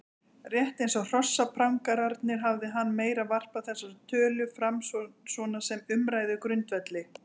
Rétt eins og hrossaprangararnir hafði hann meira varpað þessari tölu fram svona sem umræðugrundvelli.